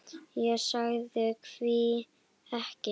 Ég sagði: Hví ekki?